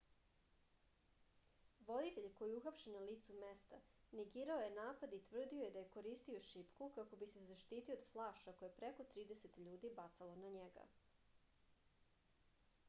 voditelj koji je uhapšen na licu mesta negirao je napad i tvrdio je da je koristio šipku kako bi se zaštitio od flaša koje je preko trideset ljudi bacalo na njega